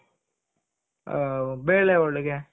ಆ ಬೇಳೆ ಹೋಳಿಗೆ